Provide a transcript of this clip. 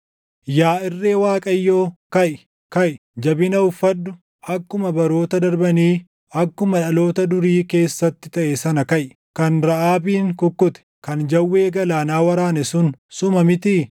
Yaa irree Waaqayyoo, kaʼi; kaʼi! Jabina uffadhu; akkuma baroota darbanii, akkuma dhaloota durii keessatti taʼe sana kaʼi. Kan Raʼaabin kukkute, kan jawwee galaanaa waraane sun suma mitii?